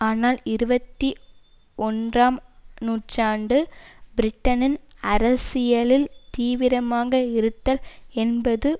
ஆனால் இருபத்தி ஒன்றாம் நூற்றாண்டு பிரிட்டனில் அரசியலில் தீவிரமாக இருத்தல் என்பது